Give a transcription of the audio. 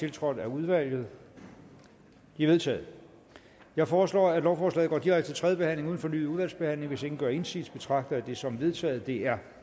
tiltrådt af udvalget de er vedtaget jeg foreslår at lovforslaget går direkte til tredje behandling uden fornyet udvalgsbehandling hvis ingen gør indsigelse betragter jeg det som vedtaget det er